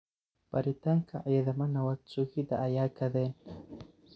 Baritanka cidhama nawadh suugida aya kadhen.